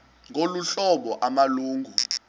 ngolu hlobo amalungu